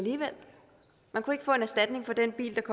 man kunne ikke få en erstatning for den bil